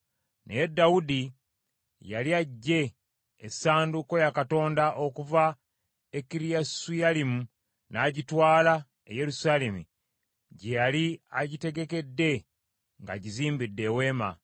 Naye Dawudi yali aggye essanduuko ya Katonda okuva e Kiriyasuyalimu, n’agitwala e Yerusaalemi gye yali agitegekedde ng’agizimbidde eweema.